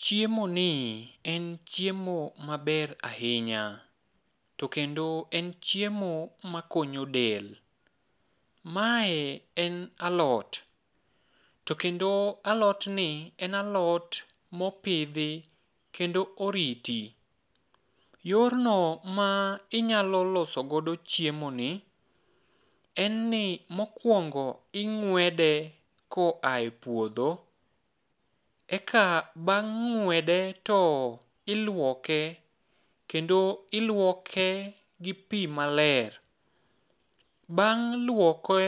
Chiemoni en chiemo maber ahinya. To kendo en chiemo makonyo del. Mae en alot. To kendo alotni en alot mopidhi kendo oriti. Yorno ma inyalo loso godo chiemoni, en ni mokuongo ing'wede koaye puodho. Eka bang' ng'wede to iluoke kendo iluoke gi pii maler. Bang' luoke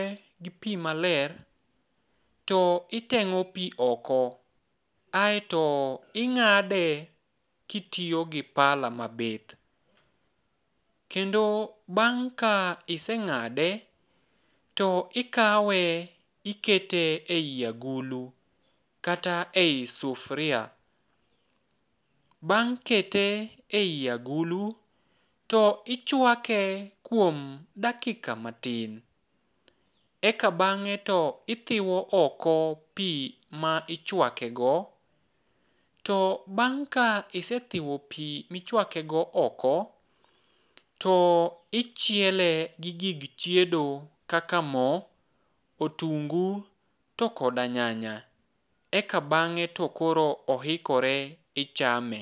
gi pii maler, to iteng'o pii oko, aeto ing'ade kitiyo gi pala mabith. Kendo bang' ka iseng'ade, to ikawe ikete ei agulu, kata ei sufuria. Bang' kete ei agulu to ichuake kuom dakika matin. Eka bang'e to ithiwo oko pii ma ichuakego. To bang' ka isethiwo pii michuakego oko, to ichiele gi gig chiedo kaka mo, otungu, to koda nyanya. Eka bang'e to koro ohikore ichame.